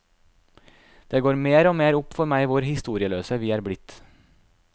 Det går mer og mer opp for meg hvor historieløse vi er blitt.